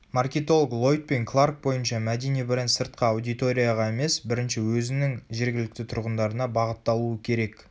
маркетолог лойд пен кларк бойынша мәдени бренд сыртқы аудиторияға емес бірінші өзінің жергілікті тұрғындарына бағытталуы керек